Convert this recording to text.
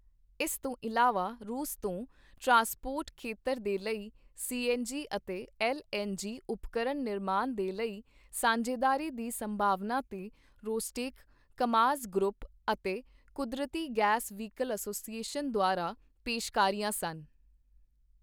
ਇਸ ਤੋਂ ਇਲਾਵਾ, ਰੂਸ ਤੋਂ, ਟਰਾਸਪੋਰਟ ਖੇਤਰ ਦੇ ਲਈ ਸੀਐੱਨਜੀ ਅਤੇ ਐੱਲਐੱਨਜੀ ਉਪਕਰਣ ਨਿਰਮਾਣ ਦੇ ਲਈ ਸਾਂਝੇਦਾਰੀ ਦੀ ਸੰਭਾਵਨਾ ਤੇ ਰੋਸਟੇਕ, ਕਾਮਾਜ਼ ਗਰੁੱਪ ਅਤੇ ਕੁਦਰਤੀ ਗੈਸ ਵਹੀਕਲ ਐਸੋਸੀਏਸ਼ਨ ਦੁਆਰਾ ਪੇਸ਼ਕਾਰੀਆਂ ਸਨ।